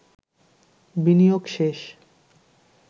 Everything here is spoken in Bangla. বিনিয়োগ শেষ